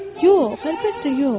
Yox, əlbəttə yox.